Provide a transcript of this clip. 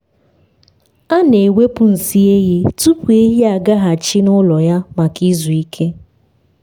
a na-ewepụ nsị ehi tupu ehi agaghachi n’ụlọ ya maka izu ike.